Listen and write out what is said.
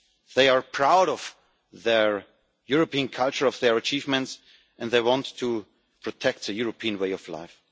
anger. They are proud of their European culture, of their achievements, and they want to protect the European way of